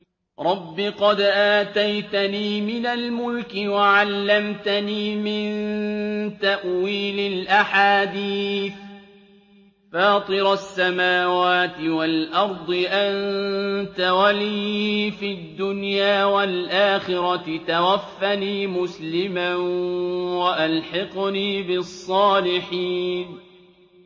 ۞ رَبِّ قَدْ آتَيْتَنِي مِنَ الْمُلْكِ وَعَلَّمْتَنِي مِن تَأْوِيلِ الْأَحَادِيثِ ۚ فَاطِرَ السَّمَاوَاتِ وَالْأَرْضِ أَنتَ وَلِيِّي فِي الدُّنْيَا وَالْآخِرَةِ ۖ تَوَفَّنِي مُسْلِمًا وَأَلْحِقْنِي بِالصَّالِحِينَ